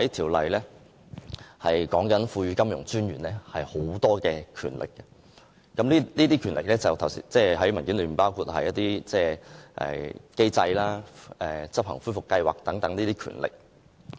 《條例草案》訂明賦予金融管理專員很多權力，包括文件上提及的規定認可機構實施恢復計劃等權力。